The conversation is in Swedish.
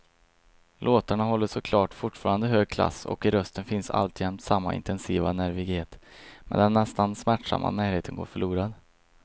Låtarna håller såklart fortfarande hög klass och i rösten finns alltjämt samma intensiva nervighet, men den nästan smärtsamma närheten går förlorad.